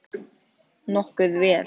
Nokkuð vel.